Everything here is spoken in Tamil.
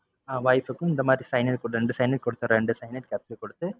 ஆஹ் wife கும் இந்த மாதிரி cyanide குடுத்து ரெண்டு cyanide குடுத்து ரெண்டு cyanide capsule கொடுத்து